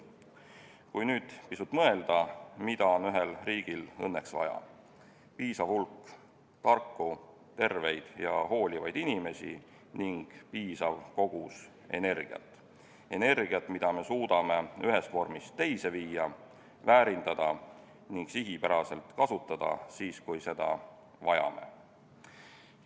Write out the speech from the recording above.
Mõtleme nüüd pisut, mida on ühel riigil õnneks vaja: piisav hulk tarku, terveid ja hoolivaid inimesi ja piisav kogus energiat – energiat, mida me suudame ühest vormist teise viia, väärindada ning sihipäraselt kasutada, kui seda vajame.